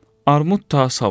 Armud ta savuşdu.